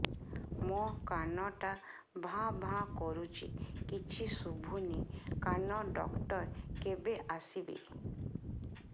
ମୋ କାନ ଟା ଭାଁ ଭାଁ କରୁଛି କିଛି ଶୁଭୁନି କାନ ଡକ୍ଟର କେବେ ଆସିବେ